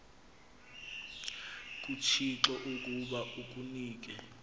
kuthixo ukuba akunike